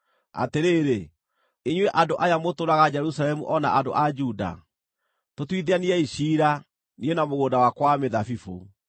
“Atĩrĩrĩ, inyuĩ andũ aya mũtũũraga Jerusalemu o na andũ a Juda, tũtuithaniei ciira, niĩ na mũgũnda wakwa wa mĩthabibũ.